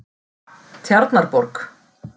Tjarnarborg